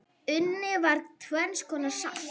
Unnið var tvenns konar salt.